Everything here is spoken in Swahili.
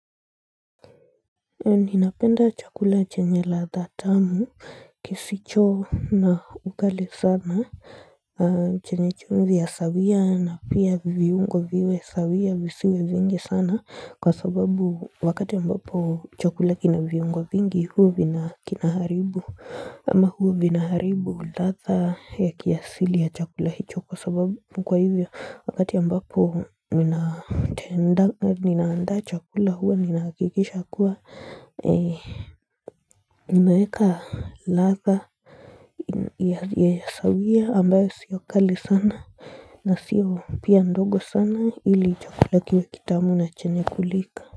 Ninapenda chakula chenye ladha tamu kisicho na ugali sana chenye chumvi ya sawia na pia viungo viwe sawia visiwe vingi sana kwa sababu wakati ambapo chakula kina viungo vingi huwa kinaharibu ama huwa vinaharibu ladha ya kiasili ya chakula hicho kwa sababu mkwa hivyo wakati ambapo ninaanda chakula huwa ninahakikisha kuwa Nimeweka ladha ya sawia ambayo sio kali sana na sio pia ndogo sana ili chakula kiwe kitamu na chenye kulika.